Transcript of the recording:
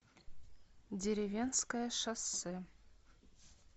деревенское шоссе